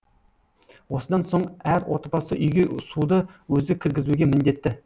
осыдан соң әр отбасы үйге суды өзі кіргізуге міндетті